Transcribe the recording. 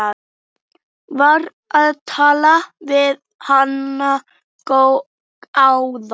Var að tala við hana áðan.